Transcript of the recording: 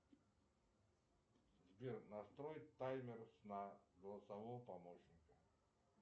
сбер настрой таймер сна голосового помощника